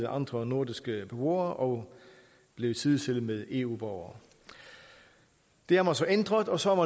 andre nordiske beboere og blev sidestillet med eu borgere det har man så ændret og så har